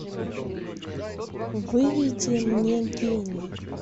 выведи мне гений